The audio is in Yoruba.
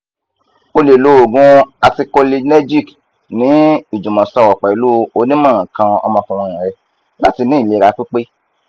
o le lo oogun anticholinergic ni ijumọsọrọ pẹlu onimọ nkan omokunrin rẹ lati ni ilera pipe